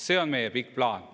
See on meie pikk plaan.